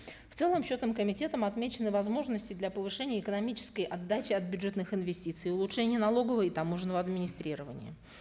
в целом счетным комитетом отмечены возможности для повышения экономической отдачи от бюджетных инвестиций улучшение налогового и таможенного администрирования